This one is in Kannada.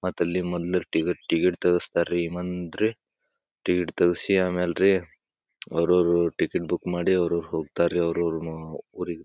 ಮತ್ತ್ ಅಲ್ಲಿ ಮೊದ್ಲು ಟಿಕೆಟ್ ಟಿಕೆಟ್ ತೇಗಿಸ್ತಾರ್ರಿ ಮಂದಿ ಟಿಕೆಟ್ ತೆಗಿಸಿ ಆಮೇಲೆ ರೀ ಅವರವರು ಟಿಕೆಟ್ ಬುಕ್ ಮಾಡಿ ಅವರವರು ಹೋಗ್ತಾರೀ ಅವರವರ ಊರಿಗೆ.